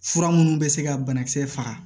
Fura minnu bɛ se ka banakisɛ faga